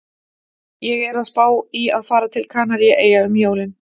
Ég er að spá í að fara til Kanaríeyja um jólin